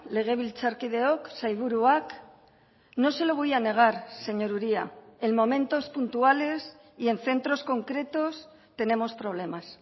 legebiltzarkideok sailburuak no se lo voy a negar señor uria en momentos puntuales y en centros concretos tenemos problemas